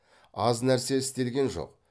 аз нәрсе істелген жоқ